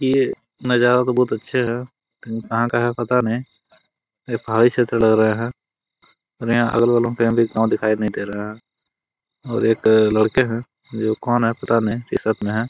ये नजारा तो बहुत अच्छा है इंसान कहा है पता नही ये पहाड़ी क्षेत्र लग रहा है और यहां अगल बगल में कही भी लोग दिखाई नहीं दे रहा है और एक लड़के है वे कौन है पता नही टी-शर्ट मैं है!